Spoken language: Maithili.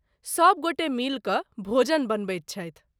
सभगोटे मिल कऽ भोजन बनबैत छथि।